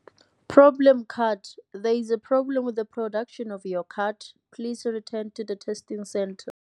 Problem card. There is a problem with the production of your card. Please return to the testing centre.